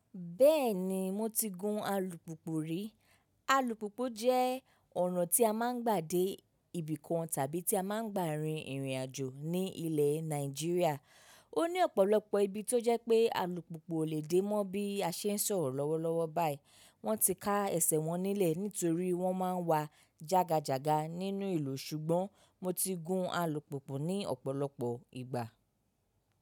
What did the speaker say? Bẹ́ẹ̀ni mo ti gun alùpùpù rí. Alùpùpù jẹ́ ọ̀nà tí a máa ń gbà dé ibì kan tàbí tí a máa ń gbà rin ìrìn àjò ní ilẹ̀ Nàìjíríà. Ó ní ọ̀pọ̀lọpọ̀ ibi tó jẹ́ pé alùpùpù ò lè dé mọ́ bí a ṣe ń sọ̀rọ̀ lọ́wọ́lọ́wọ́ báyìí. Wọ́n ti ká ẹsẹ̀ wọn nílẹ̀ nítorí wọ́n máa ń wa jága jàga nínú ìlú. Ṣùgbọ́n mo ti gun alùpùpù ní ọ̀pọ̀lọpọ̀ ìgbà.